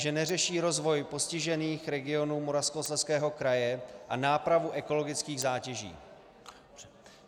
Že neřeší rozvoj postižených regionů Moravskoslezského kraje a nápravu ekologických zátěží.